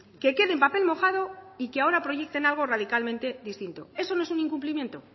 que quede en papel mojado y que ahora proyecten algo radicalmente distinto eso no es un incumplimiento